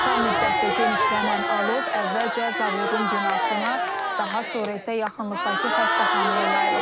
Qısa müddətdə genişlənən alov əvvəlcə zavodun binasına, daha sonra isə yaxınlıqdakı xəstəxanaya yayılıb.